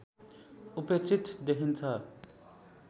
उपेक्षित देखिन्छ